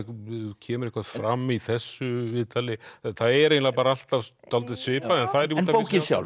kemur eitthvað fram í þessu viðtali það er eiginlega alltaf dálítið svipað en bókin sjálf